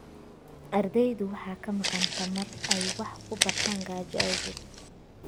Ardaydu waxaa ka maqan tamar ay wax ku bartaan gaajo awgeed.